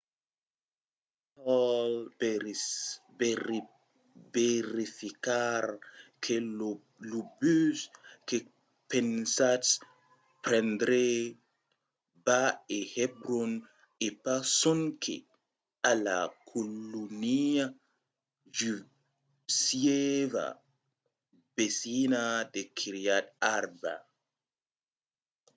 vos cal verificar que lo bus que pensatz prendre va a hebron e pas sonque a la colonia jusieva vesina de kiryat arba